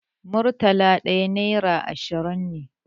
Murtala ɗaya nera ashirin ne.